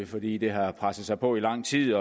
fordi det har presset sig på i lang tid